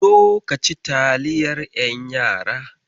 Zo ka ci taliyar ƴan yara.